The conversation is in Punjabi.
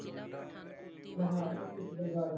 ਮੈਂਂ ਕਿਹਾ